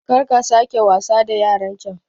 karka sake wasa da yarancan